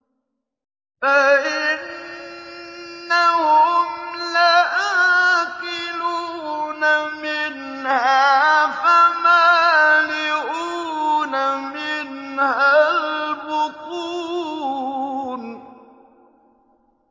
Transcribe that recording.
فَإِنَّهُمْ لَآكِلُونَ مِنْهَا فَمَالِئُونَ مِنْهَا الْبُطُونَ